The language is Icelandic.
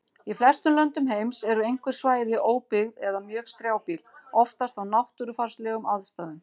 Í flestum löndum heims eru einhver svæði óbyggð eða mjög strjálbýl, oftast af náttúrufarslegum aðstæðum.